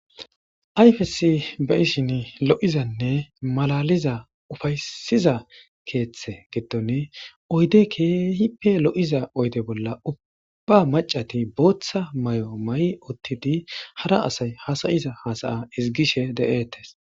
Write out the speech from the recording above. Ayfes beyishin lo7izanne malaliza ufaysiza keeththe giddon oyde keehippe lo7iza oyde bolla ubba macati booththa may7o ma7i uttidi hara asay hasayiza hasaya izigishe de7ettes.